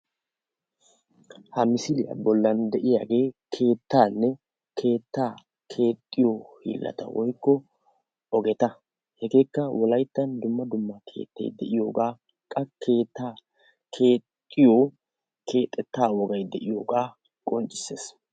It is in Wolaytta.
Ha misiliya bollan de'iyagee keettaanne keettaa keexxiyo hiillata woykko ogeta hegeekka wolayttan dumma dumma keettayi de'iyogaa qa keettaa keexxiyo keexettaa wogayi diyogaa qonccisses.